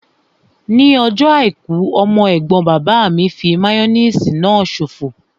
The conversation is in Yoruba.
Ní ọjọ́ àìkú, ọmọ ẹ̀gbọ́n bàbá mi fí máyóníìsì náà ṣòfò